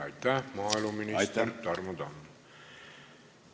Aitäh, maaeluminister Tarmo Tamm!